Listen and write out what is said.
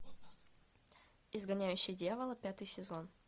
изгоняющий дьявола пятый сезон